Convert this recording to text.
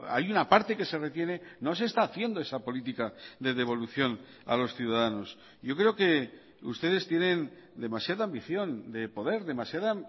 hay una parte que se retiene no se está haciendo esa política de devolución a los ciudadanos yo creo que ustedes tienen demasiada ambición de poder demasiada